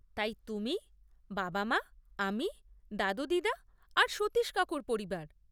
তাই তুমি, বাবা মা, আমি, দাদু দিদা আর সতীশ কাকুর পরিবার।